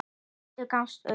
Hvítur gafst upp.